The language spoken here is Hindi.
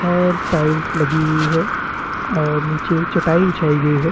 और टाइल्स लगी हुई है और नीचे चटाई बिछाई गयी है।